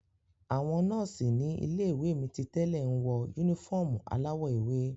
Àwọn nọ́ọ̀sì ní ilé-iwe mi titẹ́lẹ̀ nwọ unifọmú aláwọ̀ ewé.